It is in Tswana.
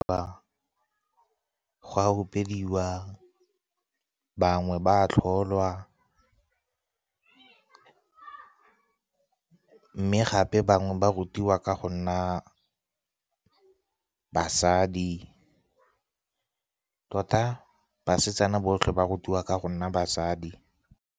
Go a opediwa, bangwe ba a tlholwa, mme gape bangwe ba rutiwa ka go nna basadi. Tota, basetsana botlhe ba rutiwa ka go nna basadi.